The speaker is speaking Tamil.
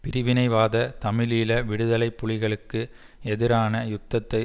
பிரிவினைவாத தமிழீழ விடுதலை புலிகளுக்கு எதிரான யுத்தத்தை